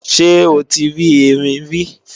Ṣé o ti rí Erin rí?